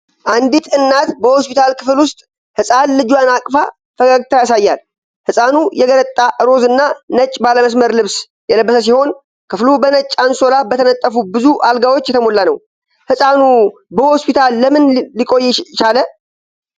አንዲት እናት በሆስፒታል ክፍል ውስጥ ህፃን ልጇን አቅፋ ፈገግታ ያሳያል። ህፃኑ የገረጣ ሮዝ እና ነጭ ባለመስመር ልብስ የለበሰ ሲሆን፣ ክፍሉ በነጭ አንሶላ በተነጠፉ ብዙ አልጋዎች የተሞላ ነው። ህፃኑ በሆስፒታል ለምን ሊቆይ ቻለ?